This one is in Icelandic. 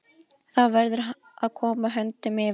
Þá verður að koma höndum yfir hann.